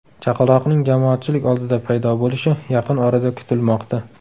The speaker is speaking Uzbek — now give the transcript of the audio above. Chaqaloqning jamoatchilik oldida paydo bo‘lishi yaqin orada kutilmoqda.